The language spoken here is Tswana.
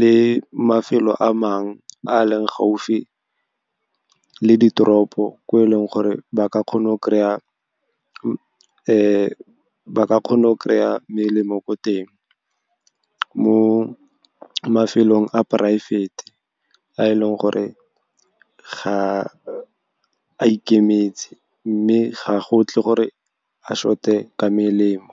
le mafelo a mang a leng gaufi le ditoropo, ko e leng gore ba ka kgona go kry-a melemo ko teng. Mo mafelong a poraefete a e leng gore a ikemetseng, mme ga go tle gore a short-e ka melemo.